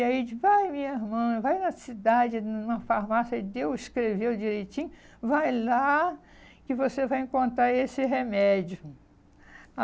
E aí, vai, minha irmã, vai na cidade, num numa farmácia, e deu, escreveu direitinho, vai lá que você vai encontrar esse remédio.